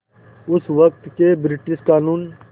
उस वक़्त के ब्रिटिश क़ानून